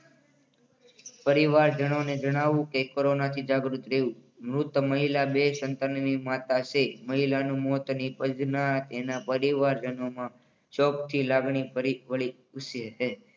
પરિવારજનોને જણાવવું કે કોરોનાથી જાગૃત રહેવું. વૃદ્ધ મહિલા બે સંતાનોની માતા છે મહિલાનું મોત નિપજતા તેના પરિવારજનોમાં શોકની લાગણી ફરીવડી.